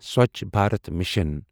Swachh Bharat mission